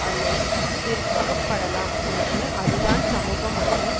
ஆலை விற்கப்படலாம் என்று அதுதான் சமூக மற்றும்